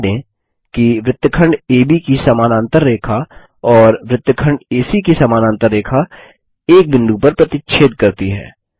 ध्यान दें कि वृत्तखंड एबी की समानांतर रेखा और वृत्तखंड एसी की समानांतर रेखा एक बिंदु पर प्रतिच्छेद करती है